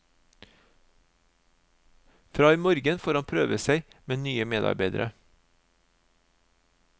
Fra i morgen får han prøve seg med nye medarbeidere.